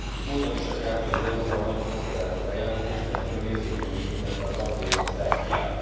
Mondani sem kell, hogy az EU ban nagy port kevert a bejelentés, de külön érzékenyen érintette a tagjelölt Szerbiát.